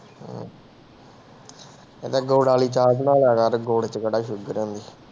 ਕਹਿੰਦੇ ਗੁੜ ਵਾਲੀ ਚਾਹ ਬਣਾ ਲਿਆ ਕਰ, ਗੁੜ ਚ ਕਿਹੜਾ ਸ਼ੂਗਰ ਹੈ ਨੀ।